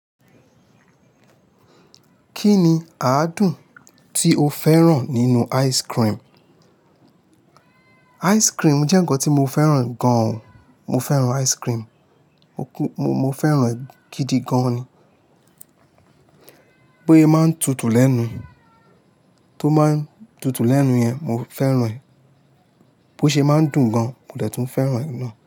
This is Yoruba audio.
Kí ni àádùn tí o fẹ́ràn nínú ice cream? Ice cream jẹ́ ǹkan tí mo fẹ́ràn gan. Mo fẹ́ràn ice cream. Mo fẹ́ràn gidi gan ni. Bó yẹ máa ń tutù lẹ́nu. Tó máa ń tutù lẹ́nu yẹn, mo fẹ́ràn ẹ bó ṣe máa ń dùn gan, mo dẹ̀ tún fẹ́ràn ẹ̀ náà.